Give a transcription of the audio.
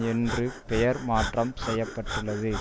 என்று பெயர் மாற்றம் செய்ய பட்டுள்ளது